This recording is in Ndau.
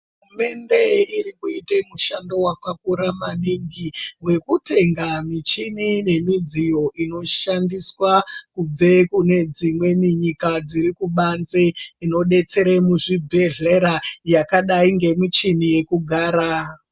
Hurumende iri kuita mushando wakakura maningi wekutenga muchini nemidziyo inoshandiswa kubve kunedzimweni nyika inoshandiswa kubanze inodetsere muzvibhehlera yakadai ngemuchini yekugara.